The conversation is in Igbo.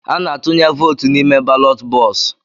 Ana-atụnye vootu n'ime balọt bọksụ̀.